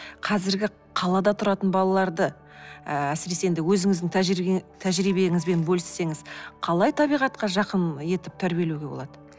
қазіргі қалада тұратын балаларды ыыы әсіресе енді өзіңіздің тәжірибеңізбен бөліссеңіз қалай табиғатқа жақын етіп тәрбиелеуге болады